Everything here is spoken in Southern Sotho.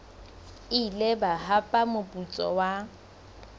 ile ba hapa moputso wa